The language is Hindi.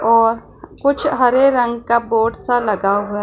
और कुछ हरे रंग का बोर्ड सा लगा हुआ--